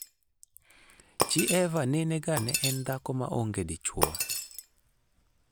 chi Eva nene ga ne en dhako maonge dichwo.